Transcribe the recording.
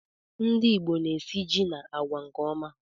Ndị ìgbo na esị jị na àgwà nke ọma